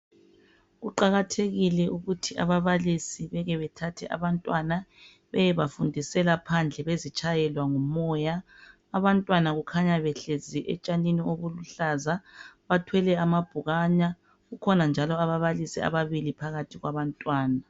Kuqakathekile ukuthi ababalisi beke bethathe abantwana beyabafundisela phandle besitshayelwa ngumoya. Abantwana kukhanya behlezi etshanini obuluhlaza bathwele amabhukwana kukhona njalo ababalisi ababili phakathi kwabantwana.